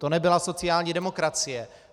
To nebyla sociální demokracie.